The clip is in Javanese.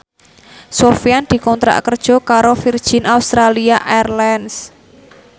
Sofyan dikontrak kerja karo Virgin Australia Airlines